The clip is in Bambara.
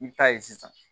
I bi taa ye sisan